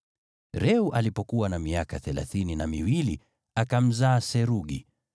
Reu alipokuwa na miaka thelathini na miwili, akamzaa Serugi.